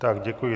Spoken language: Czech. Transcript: Tak děkuji.